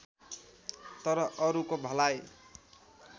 तर अरूको भलाइ